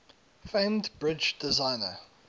famed bridge designer